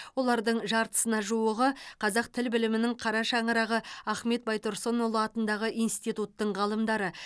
олардың жартысына жуығы қазақ тіл білімінің қара шаңырағы ахмет байтұрсынұлы атындағы институттың ғалымдары